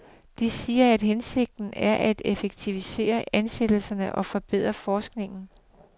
De siger, at hensigten er at effektivisere ansættelserne og forbedre forskningen.